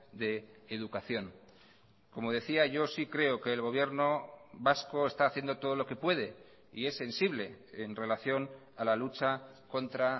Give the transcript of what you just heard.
de educación como decía yo sí creo que el gobierno vasco está haciendo todo lo que puede y es sensible en relación a la lucha contra